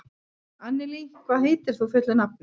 Annelí, hvað heitir þú fullu nafni?